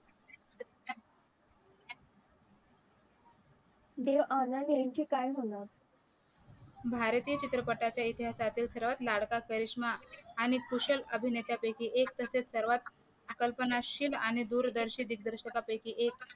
देवानंद यांचे काय होणार भारतीय चित्रपटाच्या इतिहासातील सर्वात लाडका करिष्मा आणि खुशल अभिनेत्या पैकी एक तसेच सर्वात कल्पनाशिल आणि दूरदर्शी दिग्दर्शकापैकी एक